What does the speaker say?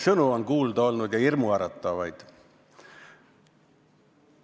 Kuulda on olnud ilusaid sõnu ja ka hirmuäratavaid.